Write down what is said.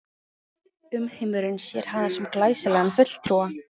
Umheimurinn sér hana sem glæsilegan fulltrúa